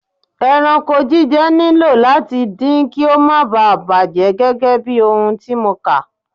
Ẹranko jíjẹ nílò láti din kí ó má bà bàjẹ́ gẹ́gẹ́bí ohun tí mo kà.